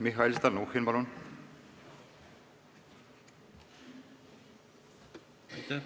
Mihhail Stalnuhhin, palun!